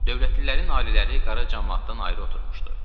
Dövlətlilərin ailələri qara camaatdan ayrı oturmuştu.